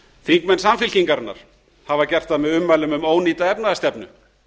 þingmenn samfylkingarinnar hafa gert það með ummælum um ónýta efnahagsstefnu